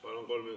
Palun!